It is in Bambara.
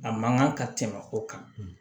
A man kan ka tɛmɛ o kan